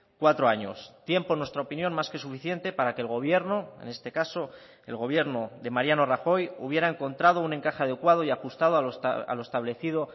cuatro años tiempo en nuestra opinión más que suficiente para que el gobierno en este caso el gobierno de mariano rajoy hubiera encontrado un encaje adecuado y ajustado a lo establecido